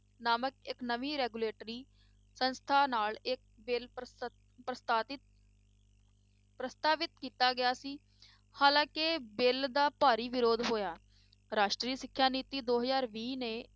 ਨਾਮਕ ਇੱਕ ਨਵੀਂ regulatory ਸੰਸਥਾ ਨਾਲ ਇੱਕ ਬਿੱਲ ਪ੍ਰਸਤ~ ਪ੍ਰਸਤਾਵਤ ਪ੍ਰਸਤਾਵਿਤ ਕੀਤਾ ਗਿਆ ਸੀ, ਹਾਲਾਂਕਿ ਬਿੱਲ ਦਾ ਭਾਰੀ ਵਿਰੋਧ ਹੋਇਆ, ਰਾਸ਼ਟਰੀ ਸਿੱਖਿਆ ਨੀਤੀ ਦੋ ਹਜ਼ਾਰ ਵੀਹ ਨੇ,